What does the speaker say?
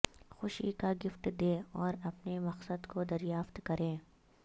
خوشی کا گفٹ دیں اور اپنے مقصد کو دریافت کریں